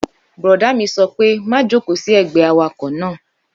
Bùrọ̀dá mi sọ pé má jòkó sí ẹgbẹ́ awakọ̀ náà!